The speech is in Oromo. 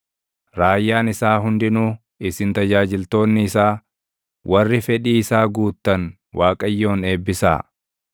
Raayyaan isaa hundinuu, isin tajaajiltoonni isaa warri fedhii isaa guuttan Waaqayyoon eebbisaa.